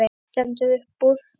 Það stendur upp úr.